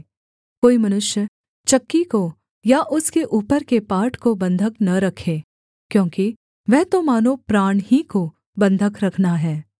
कोई मनुष्य चक्की को या उसके ऊपर के पाट को बन्धक न रखे क्योंकि वह तो मानो प्राण ही को बन्धक रखना है